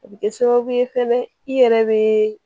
O bɛ kɛ sababu ye fɛnɛ i yɛrɛ bɛ